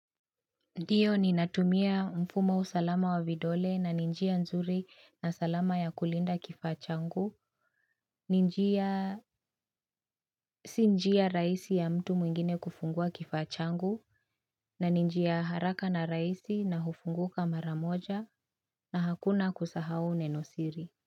Ndiyo ninatumia mfumo wa usalama wa vidole na ni njia nzuri na salama ya kulinda kifaa changu, ni njia si njia rahisi ya mtu mwingine kufungua kifaa changu, na ni njia haraka na rahisi na hufunguka mara moja na hakuna kusahau neno siri.